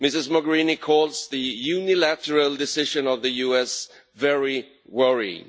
Ms Mogherini calls the unilateral decision of the US very worrying.